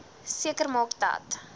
seker maak dat